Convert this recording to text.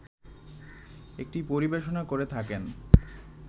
একটি পরিবেশনা করে থাকেন